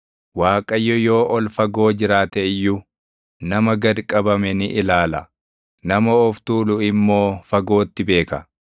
Waaqayyo yoo ol fagoo jiraate iyyuu, // nama gad qabame ni ilaala; nama of tuulu immoo fagootti beeka.